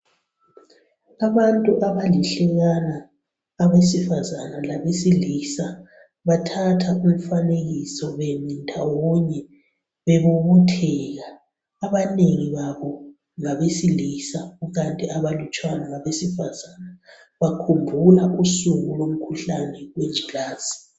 Abantu abalihlekana abesifazana labesilisa bathatha umfanekiso bemi ndawonye bebobotheka. Abanengi babo ngabesilisa kukanti abalutshwana ngabesifazana, bakhumbula usuku lwengculaza.